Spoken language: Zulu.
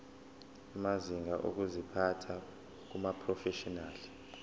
amazinga okuziphatha kumaprofeshinali